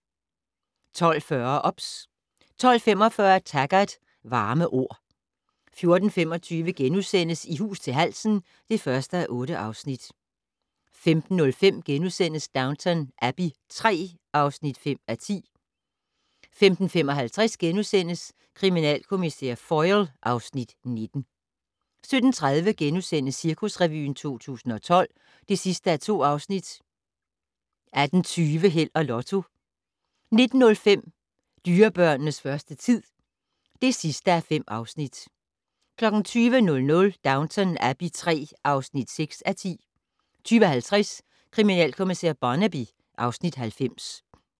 12:40: OBS 12:45: Taggart: Varme ord 14:25: I hus til halsen (1:8)* 15:05: Downton Abbey III (5:10)* 15:55: Kriminalkommissær Foyle (Afs. 19)* 17:30: Cirkusrevyen 2012 (2:2)* 18:20: Held og Lotto 19:05: Dyrebørnenes første tid (5:5) 20:00: Downton Abbey III (6:10) 20:50: Kriminalkommissær Barnaby (Afs. 90)